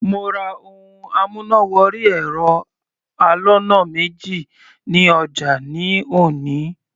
Mo ra ohun amúnà wọrí ẹ̀rọ aloná méjì ní ọjà ní òní.